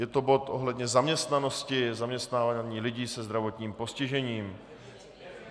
Je to bod ohledně zaměstnanosti, zaměstnávání lidí se zdravotním postižením.